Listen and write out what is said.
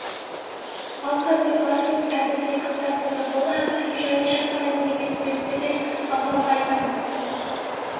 ал қазір бар деп әбіл зекіп тастады бұл әбілдің жай жасқайын дегені сөйтті де апама айтам